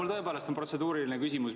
Mul on tõepoolest protseduuriline küsimus.